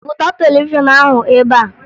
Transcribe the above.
Buta televishọn ahụ ebe a!